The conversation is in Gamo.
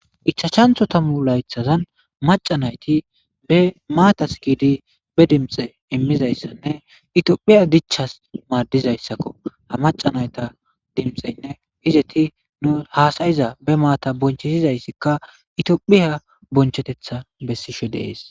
Ichashantho tamu laythazan maca nayti be maataskidi be dimxe immizayssanne itiophiya dichas maadizayssakko ha macanayta dimxeynne hizeti nu haasayiza be maata bonchetizayssikka itiophiya bonchetetha bessishe deees.